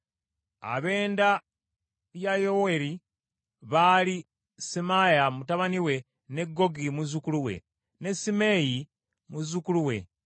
Ab’enda ya Yoweeri baali Semaaya mutabani we, ne Gogi muzzukulu we, ne Simeeyi muzzukulu we.